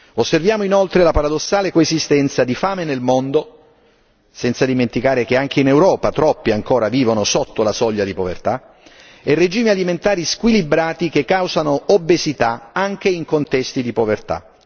Osserviamo inoltre la paradossale coesistenza di fame nel mondo senza dimenticare che anche in Europa troppi ancora vivono sotto la soglia di povertà e regimi alimentari squilibrati che causano obesità anche in contesti di povertà